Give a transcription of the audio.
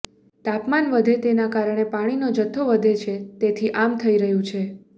તાપમાન વધે તેના કારણે પાણીનો જથ્થો વધે છે તેથી આમ થઈ રહ્યું છે